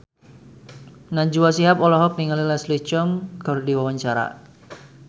Najwa Shihab olohok ningali Leslie Cheung keur diwawancara